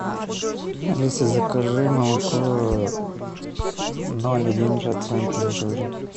алиса закажи молоко с ноль один процентом жира